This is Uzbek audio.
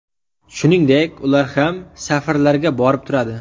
Shuningdek, ular ham safarlarga borib turadi.